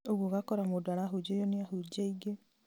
ũguo ũgakora mũndũ arahunjĩrio nĩ ahunjia aingĩ